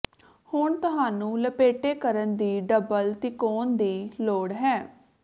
ਹੁਣ ਤੁਹਾਨੂੰ ਲਪੇਟੇ ਕਰਨ ਦੀ ਡਬਲ ਤਿਕੋਨ ਦੀ ਲੋੜ ਹੈ